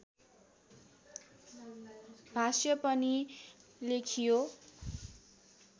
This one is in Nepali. भाष्य पनि लेखियो